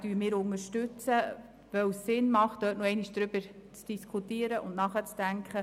: Diesen unterstützen wir, weil es Sinn macht, dort noch einmal über die Bücher zu gehen und nachzudenken.